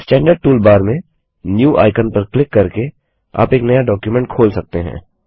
standard toolbar में new icon पर click करके आप एक नया डॉक्युमेंट खोल सकते हैं